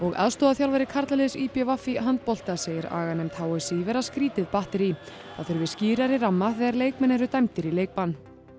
aðstoðarþjálfari karlaliðs í b v í handbolta segir aganefnd h s í vera skrýtið batterí það þurfi skýrari ramma þegar leikmenn eru dæmdir í leikbann